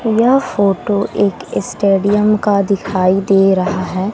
यह फोटो एक स्टेडियम का दिखाई दे रहा है।